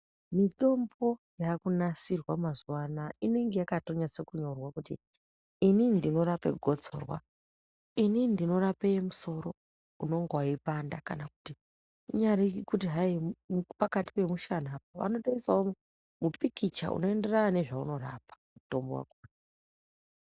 Mitombo yakunasirwa mazuwa anaya inenge yakatonyatsa kunyorwa kuti inini ndinorape gotsora, inini ndinorape musoro unenge weyipanda kana kuti kunyari kuti hayi pakati pemushanapo anotoisawo mupikicha unoenderana nezvaunorapa mutombo wakona.